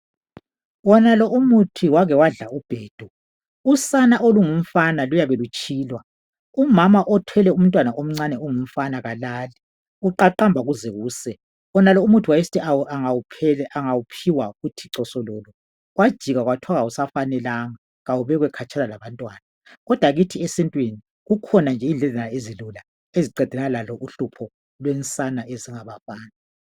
Wonalo umuthi wake wafla ubhedu, usana olungumfana luyabe lutshilwa. Umama othwele umntwana omncane ongumfana kalali, kuqaqamba kuze kuse. Wonalo umuthi usana lungawuphiwa kuyathi cosololo kwajikwa kwathiwa kawusafanelanga kawubekwe khatshana le kodwa kithi esintwini kukhona nje indledlana ezilula eziqedelana laloluhlupho lwensana ezingabafana.